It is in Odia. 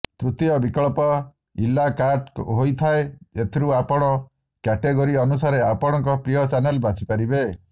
ତୃତୀୟ ବିକଳ୍ପ ଇ ଲା କାର୍ଟ ହୋଇଥାଏ ଏଥିରୁ ଆପଣ କ୍ୟାଟେଗୋରୀ ଅନୁସାରେ ଆପଣଙ୍କ ପ୍ରିୟ ଚ୍ୟାନେଲ୍ ବାଛିପାରିବେ